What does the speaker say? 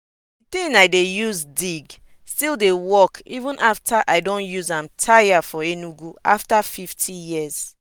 di tin i dey use dig still dey work even after i don use am tire for enugu after fifty years.